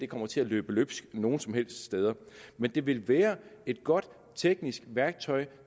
kommer til at løbe løbsk nogen som helst steder men det vil være et godt teknisk værktøj